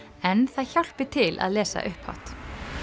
en það hjálpi til að lesa upphátt